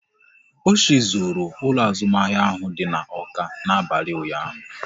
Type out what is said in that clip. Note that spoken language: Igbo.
Ochị zuru ụlọ azụmahịa ahụ dị n'Awka n'abalị ụnyaahụ